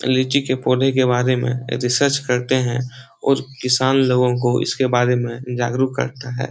लीची के पौधे के बारे में रिसर्च करते है और किसान लोगो को इसके बारे में जागरूक करते है।